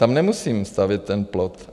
Tam nemusím stavět ten plot.